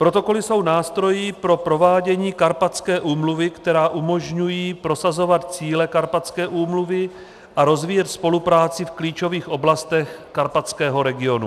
Protokoly jsou nástroji pro provádění Karpatské úmluvy, které umožňují prosazovat cíle Karpatské úmluvy a rozvíjet spolupráci v klíčových oblastech karpatského regionu.